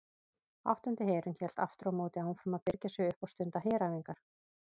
Áttundi herinn hélt aftur á móti áfram að birgja sig upp og stunda heræfingar.